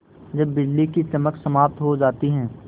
जब बिजली की चमक समाप्त हो जाती है